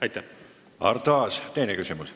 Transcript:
Arto Aas, teine küsimus.